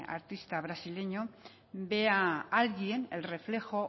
artista brasileño vea alguien el reflejo